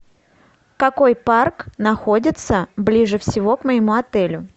какой парк находится ближе всего к моему отелю